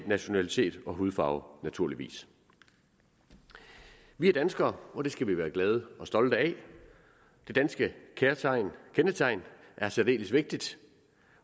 nationalitet og hudfarve naturligvis vi er danskere og det skal vi være glade og stolte af det danske kendetegn kendetegn er særdeles vigtigt